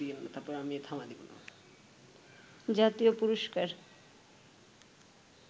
জাতীয় পুরস্কার